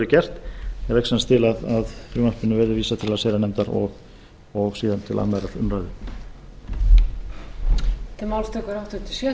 gert ég legg sem sagt til að frumvarpinu verði vísað til allsherjarnefndar og síðan til annarrar umræðu